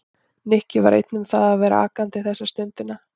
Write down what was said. Nikki var ekki einn um það að vera vakandi þessa stundina.